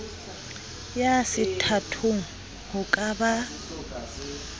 ya sethathong ho ka ba